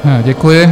Děkuji.